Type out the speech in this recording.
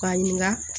K'a ɲininga